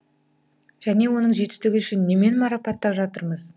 және оның жетістігі үшін немен марапаттап жатырмыз